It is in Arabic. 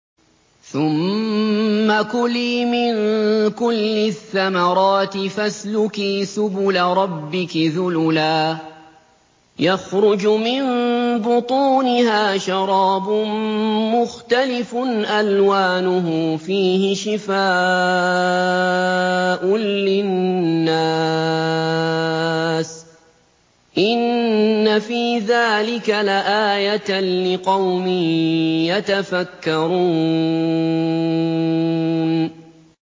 ثُمَّ كُلِي مِن كُلِّ الثَّمَرَاتِ فَاسْلُكِي سُبُلَ رَبِّكِ ذُلُلًا ۚ يَخْرُجُ مِن بُطُونِهَا شَرَابٌ مُّخْتَلِفٌ أَلْوَانُهُ فِيهِ شِفَاءٌ لِّلنَّاسِ ۗ إِنَّ فِي ذَٰلِكَ لَآيَةً لِّقَوْمٍ يَتَفَكَّرُونَ